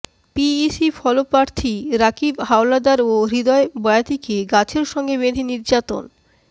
PEC ফলপ্রার্থী রাকিব হাওলাদার ও হৃদয় বয়াতিকে গাছের সঙ্গে বেঁধে নির্যাতন